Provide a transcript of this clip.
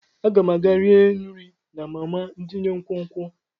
Aga m aga rie nri na mama tinye nkwonkwo.